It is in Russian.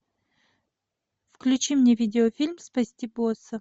включи мне видеофильм спасти босса